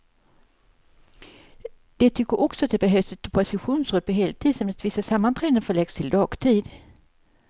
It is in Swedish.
De tycker också att det behövs ett oppositionsråd på heltid, samt att vissa sammanträden förläggs till dagtid.